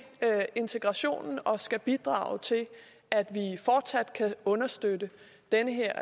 integrationen og skal bidrage til at vi fortsat kan understøtte den her